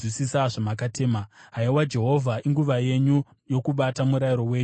Haiwa Jehovha, inguva yenyu yokubata; murayiro wenyu uri kuputswa.